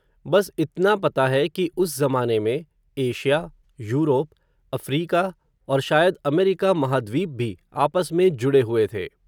बस इतना पता है, कि उस ज़माने में, एशिया, यूरोप, अफ़्रीका, और शायद अमेरिका महाद्वीप भी, आपस में जुड़े हुए थे